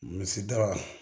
Misida